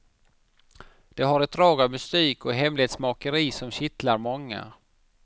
Det har ett drag av mystik och hemlighetsmakeri som kittlar många.